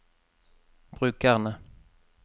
brukerne